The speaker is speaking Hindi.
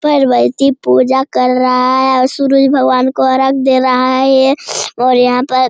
व्यक्ति पूजा कर रहा है और सूरज भगवान को अर्घ दे रहा है ये और यहाँ पर --